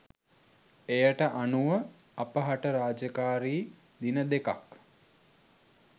එයට අනුව අපහට රාජකාරි දිනදෙකක්